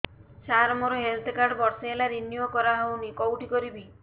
ସାର ମୋର health card ବର୍ଷେ ହେଲା ରିନିଓ କରା ହଉନି କଉଠି କରିବି